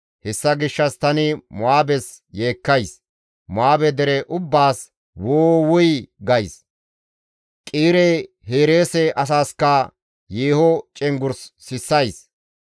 Hessa gishshas tani Mo7aabes yeekkays; Mo7aabe dere ubbaas, ‹Wuu! Wuy› gays; Qiire-Hereese asaasikka yeeho cenggurs sissays.